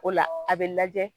O la a bɛ lajɛ